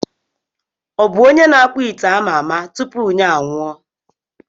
Ọ bụ onye na-akpụ ite ama ama tupu ya anwụọ?